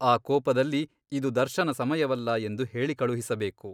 ಆ ಕೋಪದಲ್ಲಿ ಇದು ದರ್ಶನ ಸಮಯವಲ್ಲ ಎಂದು ಹೇಳಿಕಳುಹಿಸಬೇಕು.